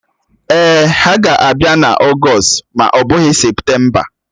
Èè, ha ga-abịa n'Ọgst ma ọ bụghị Septemba